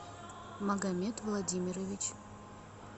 магомед владимирович